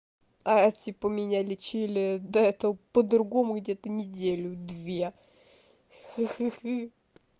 а типа меня лечили до это по-другому где-то неделю две хи-хи